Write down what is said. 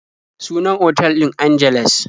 Sunan otal ɗin Angeles.